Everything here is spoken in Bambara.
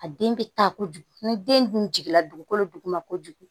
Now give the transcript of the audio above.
A den bɛ taa kojugu ni den dun jiginna dugukolo duguma kojugu